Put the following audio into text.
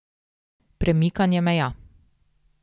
Premikanje meja.